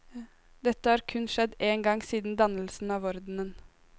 Dette har kun skjedd én gang siden dannelsen av ordenen.